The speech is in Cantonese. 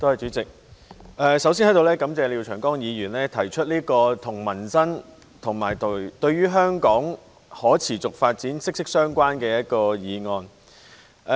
代理主席，我首先在此感謝廖長江議員提出這項跟民生及香港可持續發展息息相關的議案。